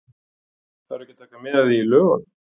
Þarf ekki að taka mið af því í lögunum?